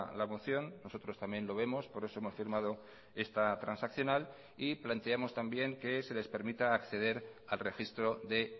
la moción nosotros también lo vemos por eso hemos firmado esta transaccional y planteamos también que se les permita acceder al registro de